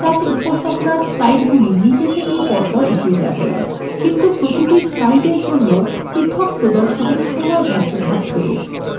এবার এমন একটি উপস্থাপনা তৈরী করা যাক let স্বয়ংক্রিয়ভাবে এগিয়ে যাবে কিন্তু প্রতিটি slide জন্য পৃথক প্রদর্শনের সময় ধার্য থাকবে